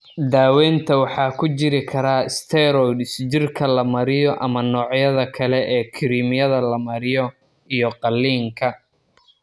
Daaweynta waxaa ku jiri kara steroids jirka la mariyo ama noocyada kale ee kiriimyada la mariyo iyo/ama qalliinka.